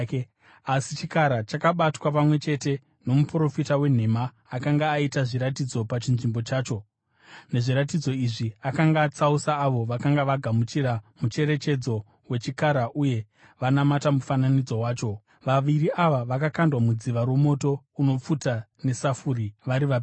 Asi chikara chakabatwa, pamwe chete nomuprofita wenhema akanga aita zviratidzo pachinzvimbo chacho. Nezviratidzo izvi akanga atsausa avo vakanga vagamuchira mucherechedzo wechikara uye vanamata mufananidzo wacho. Vaviri ava vakakandwa mudziva romoto unopfuta nesafuri vari vapenyu.